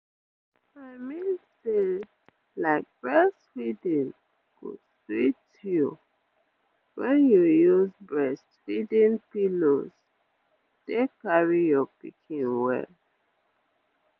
i mean say like breastfeeding go sweet you wen you use breastfeeding pillows take dey carry your pikin well